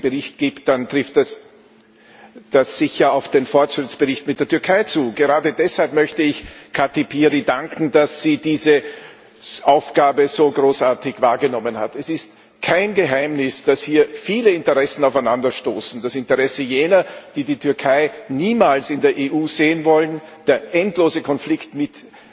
Frau Präsidentin! Wenn es einen schwierigen Bericht gibt, dann trifft das sicher auf den Fortschrittsbericht mit der Türkei zu gerade deshalb möchte ich Kati Piri danken, dass sie diese Aufgabe so großartig wahrgenommen hat. Es ist kein Geheimnis, dass hier viele Interessen aufeinanderstoßen das Interesse jener, die die Türkei niemals in der EU sehen wollen, der endlose Konflikt mit